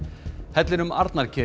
hellinum